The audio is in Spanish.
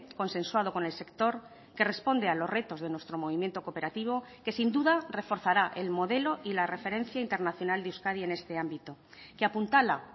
consensuado con el sector que responde a los retos de nuestro movimiento cooperativo que sin duda reforzará el modelo y la referencia internacional de euskadi en este ámbito que apuntala